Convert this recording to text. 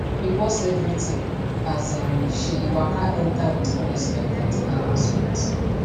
we pause everything as um she waka enter with unexpected announcement